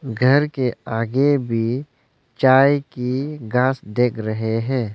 घर के आगे भी चाय की घास देख रहे हैं।